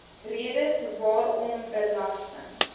redes waarom belasting